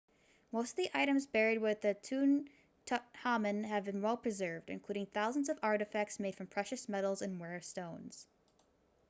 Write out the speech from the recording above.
most of the items buried with tutankhamun have been well preserved including thousands of artefacts made from precious metals and rare stones